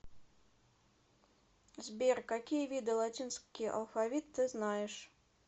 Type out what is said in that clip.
сбер какие виды латинский алфавит ты знаешь